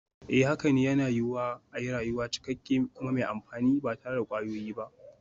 Haka ne, yana yiwuwa a yi rayuwa cikakke kuma mai amfani ba tare da kwayoyi ba.